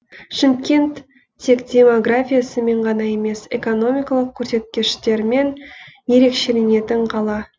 шымкент тек демографиясымен ғана емес экономикалық көрсеткіштерімен ерекшеленетін қала